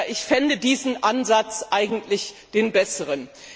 Ich fände diesen Ansatz eigentlich den besseren.